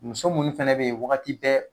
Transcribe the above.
Muso munnu fɛnɛ be yen wagati bɛɛ